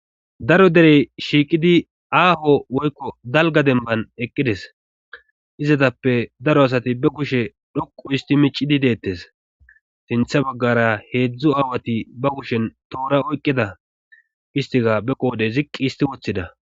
Daro derey shiiqidi aaho woykko dalga demban eqqides izatappe daro asati be kushe dhoqu isti micidi deettes sintha baggara heedzdzu aawati ba kushen toora oyqqida istika be qoode ziqqi isti woththida.